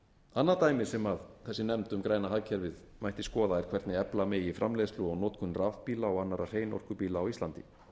annað dæmi sem þessi nefnd um græna hagkerfið mætti skoða er hvernig efla megi framleiðslu og notkun rafbíla og annarra hreinorkubíla á íslandi